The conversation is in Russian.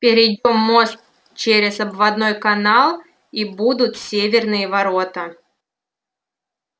перейдём мост через обводной канал и будут северные ворота